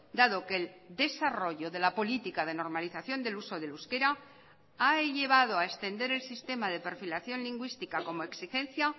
dado que el desarrollo de la política de normalización del uso del euskera ha llevado a extender el sistema de perfilación lingüística como exigencia